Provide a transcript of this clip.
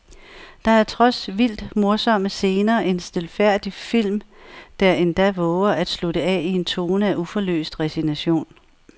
Der er trods vildt morsomme scener en stilfærdig film, der endda vover at slutte af i en tone af uforløst resignation.